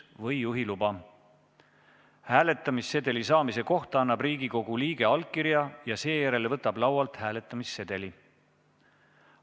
Hääletamissedeli saamise kohta annab Riigikogu liige allkirja ja seejärel võtab laualt hääletamissedeli.